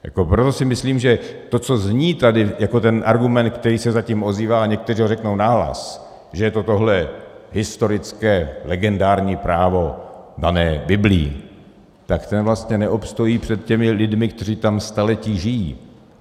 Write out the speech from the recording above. Proto si myslím, že to, co zní tady jako ten argument, který se zatím ozývá, a někteří ho řeknou nahlas, že je to tohle historické legendární právo dané Biblí, tak ten vlastně neobstojí před těmi lidmi, kteří tam staletí žijí.